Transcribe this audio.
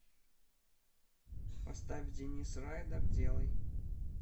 поставь денис райдер делай